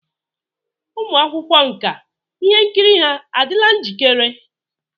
Ụmụ akwụkwọ nka ihe nkiri ha adịla njikere?